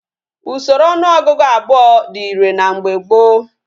Usoro onuogugu abuo di ire na mgbe gboo